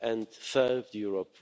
and served Europe